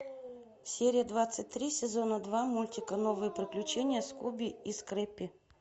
серия двадцать три сезона два мультика новые приключения скуби и скрэппи